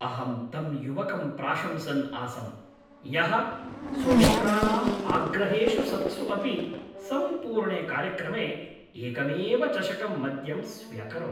अहं तं युवकं प्रशंसन् आसं यः स्वमित्राणाम् आग्रहेषु सत्सु अपि सम्पूर्णे कार्यक्रमे एकमेव चषकं मद्यं स्व्यकरोत्।